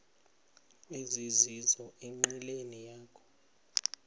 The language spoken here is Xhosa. ezizizo enqileni yakho